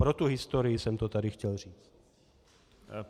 Pro tu historii jsem to tady chtěl říct.